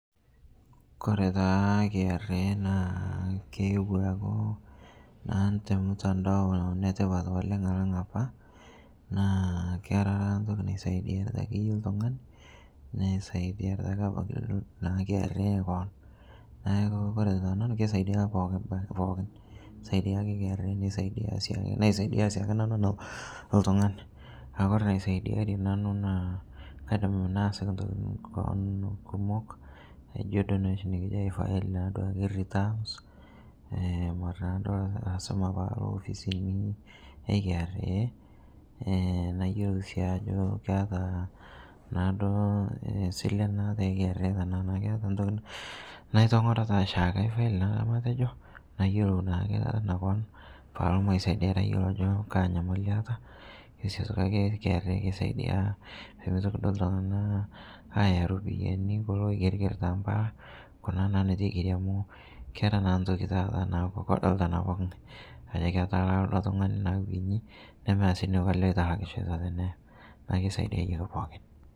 Kore taa KRA naa keewo aaku naa te mtandao aaku netipat alang' apaa naa kera ntoki naisaidiarita akeye ltung'ani neisaidiarita ake abaki kra koon, naaku kore te nanuu keisaidia pookin keisaidia kra neisaidia ,naisaidia sii nanuu ana oltung'ani akore naisaidiarie nanu naa kaidim naasiki ntokitin koon kumok aijo duo noshi nikijo ai file duake returns, mara naaduo paalo ofisini e kra, nayolo sii ajo keata naaduo silen naatai kra tanaa naa keata ntoki naitongoro taa shaake et file matejo, nayelou naake tana koon paalo maisaidiarii ayolo ajo kaa nyamali aata, neeitoki siake kra aisaidia pemeitoki duo ltung'ana ayaa ropiyani kuloo eigerger tampalaa kunaa naa netuu eigeri amuu kera naa ntoki naaku taata naaku kodokita naa pokii ng'ai ajo ketalaa ildoo tung'ani nawenyii nemeata sii neiko alee eitakushoita tenee naaku keisaidiaye ake pookin.